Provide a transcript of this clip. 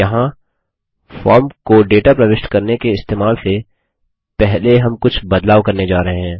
यहाँ फॉर्म को डेटा प्रविष्ट करने के इस्तेमाल से पहले हम कुछ बदलाव करने जा रहे हैं